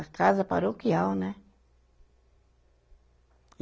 A casa paroquial, né?